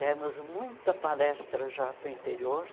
Demos muita palestra já para o interior.